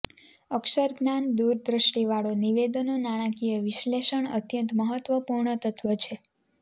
અક્ષરજ્ઞાન દૂરદ્રષ્ટિવાળો નિવેદનો નાણાકીય વિશ્લેષણ અત્યંત મહત્વપૂર્ણ તત્વ છે